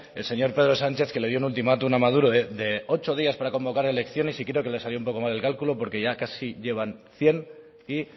el señor pedro sánchez que le dio un ultimátum a maduro de ocho días para convocar elecciones y creo que le salió un poco mal el cálculo porque ya casi llevan cien y